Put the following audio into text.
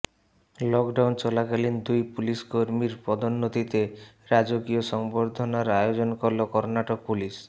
lockdown চলাকালীন দুই police কর্মীর পদোন্নতিতে রাজকীয় সংবর্ধনার আয়োজন করল কর্নাটক পুলিশ